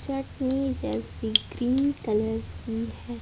चटनी जैसी green colour की है।